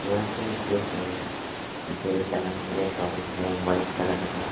यहा पे कुछ पेड़ लगाने के लिए तोफ है वाइट कलर का।